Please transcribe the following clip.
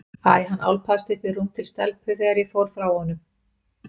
Æ, hann álpaðist upp í rúm til stelpu þegar ég fór frá honum.